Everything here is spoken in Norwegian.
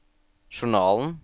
journalen